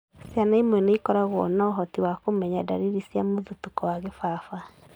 Ciana imwe nĩ ikoragwo na ũhoti wa kũmenya dariri cia mũthutũko wa kĩbaba,